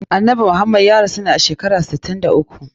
Annabi Muhammad ya rasu ne a shekara sittin da uku.